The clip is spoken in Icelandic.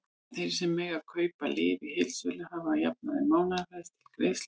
Þeir sem mega kaupa lyf í heildsölu hafa að jafnaði mánaðarfrest til greiðslu.